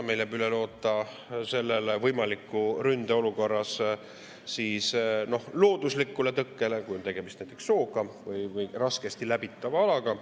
Meil jääb üle loota võimalikus ründeolukorras looduslikule tõkkele, kui on tegemist näiteks sooga või muu raskesti läbitava alaga.